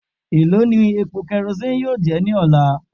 Elo ni epo kerosene yoo jẹ ni ọla?